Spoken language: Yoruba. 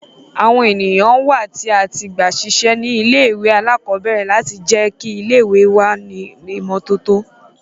Awọn eniyan wa ti a gbasiṣẹ ni ìlé-ìwé àlàkọbẹrẹ lati jẹ ki ìlé-ìwé wa ni imototo